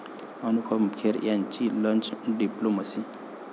अनुपम खेर यांची 'lunch' diplomacy